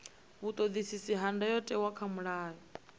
vhuṱoḓisisi ha ndayotewa kha mulayo